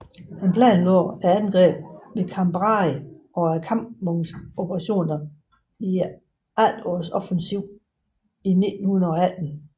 Han planlagde angrebet ved Cambrai og kampvognsoperationer i efterårsoffensiven i 1918